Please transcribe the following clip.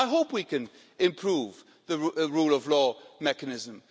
I hope we can improve the rule of law mechanism.